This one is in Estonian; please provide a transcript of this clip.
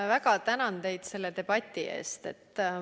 Ma väga tänan teid selle debati eest!